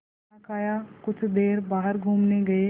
खाना खाया कुछ देर बाहर घूमने गए